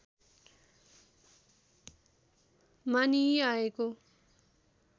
मानिई आएको